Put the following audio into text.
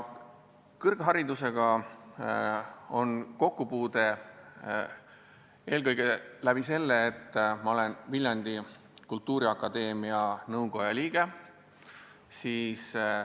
Kõrgharidusega on mu kokkupuude eelkõige läbi selle, et ma olen Viljandi Kultuuriakadeemia nõukoja liige.